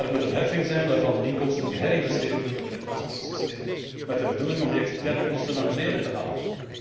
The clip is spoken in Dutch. Het moet een heffing zijn, waarvan de inkomsten geherinvesteerd worden in het transportsysteem met de bedoeling om de externe kosten naar beneden te halen.